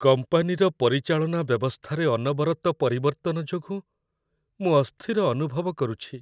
କମ୍ପାନୀର ପରିଚାଳନା ବ୍ୟବସ୍ଥାରେ ଅନବରତ ପରିବର୍ତ୍ତନ ଯୋଗୁଁ ମୁଁ ଅସ୍ଥିର ଅନୁଭବ କରୁଛି।